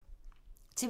TV 2